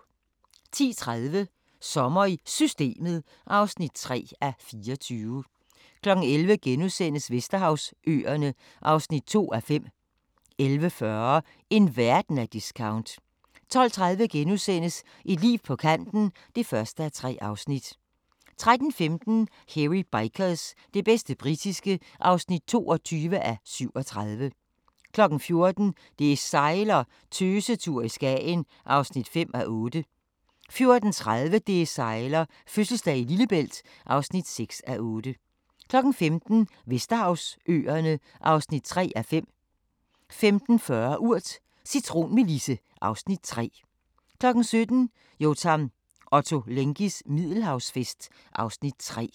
10:30: Sommer i Systemet (3:24) 11:00: Vesterhavsøerne (2:5)* 11:40: En verden af discount 12:30: Et liv på kanten (1:3)* 13:15: Hairy Bikers – det bedste britiske (22:37) 14:00: Det sejler - Tøsetur i Skagen (5:8) 14:30: Det sejler - fødselsdag i Lillebælt (6:8) 15:00: Vesterhavsøerne (3:5) 15:40: Urt: Cintronmelisse (Afs. 3) 17:00: Yotam Ottolenghis Middelhavsfest (Afs. 3)